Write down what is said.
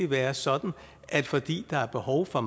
være sådan at fordi der er behov for